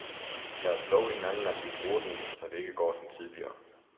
Lad os love hinanden, at vi bruger den, så det ikke går som tidligere.